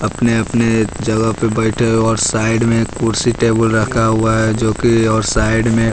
अपने-अपने जगह पर बैठे हैं और साइड में कुर्सी टेबल रखा हुआ है जो कि और साइड में --